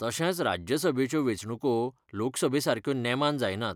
तशेंच राज्यसभेच्यो वेंचणूको लोकसभेसारक्यो नेमान जायनात.